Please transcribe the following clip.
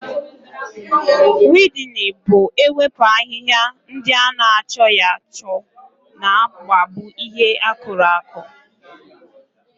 Wiidịn bụ ewepu ahịhịa ndị ana achọghị achọ na-akpagbu ihe akùrù aku